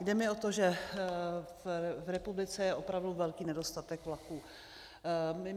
Jde mi o to, že v republice je opravdu velký nedostatek vlaků.